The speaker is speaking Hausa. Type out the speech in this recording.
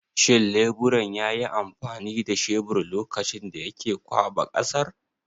Shin leburan yayi amfani da shebir lokacin da yake ƙwaɓa ƙasar?